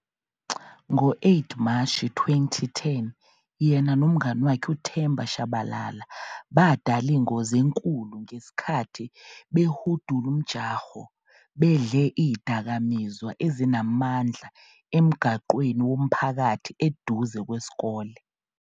Ngo-8 Mashi 2010 yena nomngani wakhe uThemba Tshabalala badala ingozi enkulu ngesikhathi behudula umjaho bedle izidakamizwa ezinamandla emgwaqweni womphakathi eduze kwesikole.